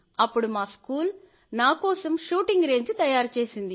అప్పుడు మా స్కూల్ నా కోసం షూటింగ్ రేంజ్ తయారుచేసింది